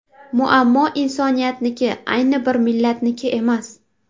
Muammo insoniyatniki, ayni bir millatniki emas”.